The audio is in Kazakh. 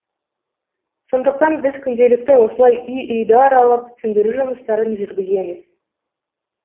сондықтан біз күнделікті осылай үй үйді аралап түсіндіру жұмыстарын жүргіземіз